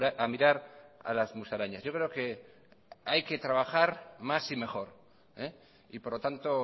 a mirar a las musarañas yo creo que hay que trabajar más y mejor y por lo tanto